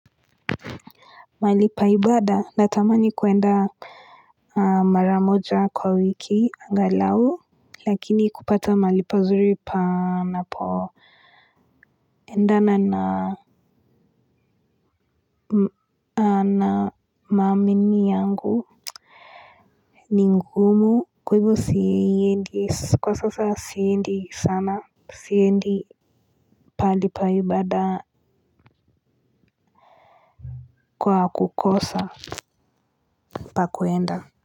Mahali pa ibada natamani kuenda. Maramoja kwa wiki angalao. Lakini kupata mahali pazuri panapo endana na mamini yangu. Ningumu kwa sasa siendi sana. Siendi palipaibada kwa kukosa pakuenda.